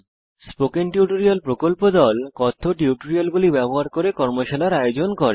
spoken tutorial প্রকল্প দল কথ্য টিউটোরিয়াল গুলি ব্যবহার করে কর্মশালার আয়োজন করে